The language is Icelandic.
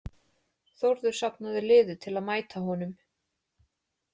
Þórður safnaði liði til að mæta honum.